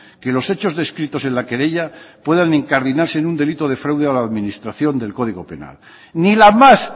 que los hechos descritos en la querella puedan incardinarse en un delito de fraude a la administración del código penal ni la más